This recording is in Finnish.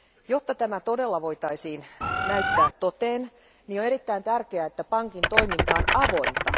Jotta tämä todella voitaisiin näyttää toteen, on erittäin tärkeää, että pankin toiminta on avointa.